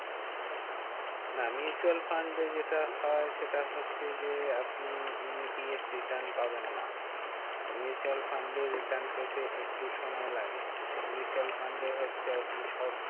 না mutual fund এ যেটা হয় সেটা হচ্ছে যে, আপনি immediate return পাবেন না। mutual fund এ return পেতে একটু সময় লাগে। mutual fund এ হচ্ছে আপনি short